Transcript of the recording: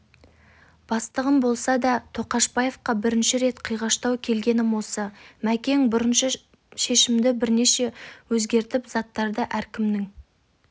бастығым болса да тоқашбаевқа бірінші рет қиғаштау келгенім осы мәкең бұрынғы шешімді бірден өзгертті заттарды әркімнің